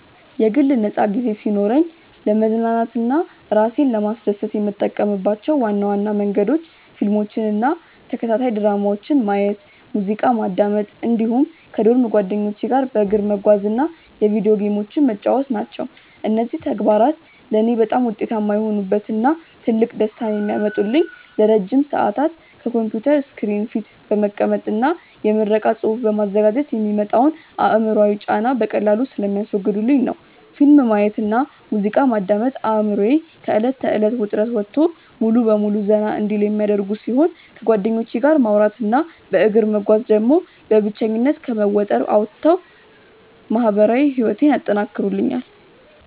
የግል ነፃ ጊዜ ሲኖረኝ ለመዝናናት እና እራሴን ለማስደሰት የምጠቀምባቸው ዋና ዋና መንገዶች ፊልሞችን እና ተከታታይ ድራማዎችን ማየት፣ ሙዚቃ ማዳመጥ እንዲሁም ከዶርም ጓደኞቼ ጋር በእግር መጓዝ እና የቪዲዮ ጌሞችን መጫወት ናቸው። እነዚህ ተግባራት ለእኔ በጣም ውጤታማ የሆኑበት እና ትልቅ ደስታን የሚያመጡልኝ ለረጅም ሰዓታት ከኮምፒውተር ስክሪን ፊት በመቀመጥ እና የምረቃ ፅሁፍ በማዘጋጀት የሚመጣውን አእምሯዊ ጫና በቀላሉ ስለሚያስወግዱልኝ ነው። ፊልም ማየት እና ሙዚቃ ማዳመጥ አእምሮዬ ከእለት ተእለት ውጥረት ወጥቶ ሙሉ በሙሉ ዘና እንዲል የሚያደርጉ ሲሆን፣ ከጓደኞቼ ጋር ማውራት እና በእግር መጓዝ ደግሞ በብቸኝነት ከመወጠር አውጥተው ማህበራዊ ህይወቴን ያጠናክሩልኛል።